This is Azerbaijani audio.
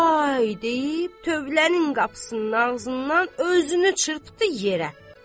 Vay deyib tövlənin qapısının ağzından özünü çırpdı yerə.